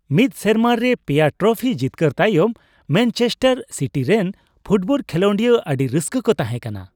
ᱢᱤᱫ ᱥᱮᱨᱢᱟ ᱨᱮ ᱓ ᱴᱨᱟᱯᱷᱤ ᱡᱤᱛᱠᱟᱹᱨ ᱛᱟᱭᱚᱢ ᱢᱮᱱᱪᱮᱥᱴᱟᱨ ᱥᱤᱴᱤ ᱨᱮᱱ ᱯᱷᱩᱴᱵᱚᱞ ᱠᱷᱮᱞᱳᱰᱤᱭᱟᱹ ᱟᱹᱰᱤ ᱨᱟᱹᱥᱠᱟᱹ ᱠᱚ ᱛᱟᱦᱮᱸᱠᱟᱱᱟ ᱾